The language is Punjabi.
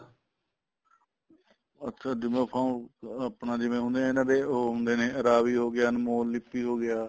ਅੱਛਾ ਜਿਵੇਂ font ਆਪਣਾ ਜਿਵੇਂ ਹੁਣ ਇਹ ਏ ਨਾ ਵੀ ਉਹ ਹੁੰਦੇ ਰਾਵੀ ਹੋਗਿਆ ਅਨਮੋਲ ਲਿਪੀ ਹੋ ਗਿਆ